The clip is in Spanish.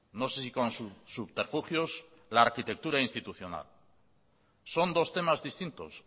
no sé si con subterfugios la arquitectura institucional son dos temas distintos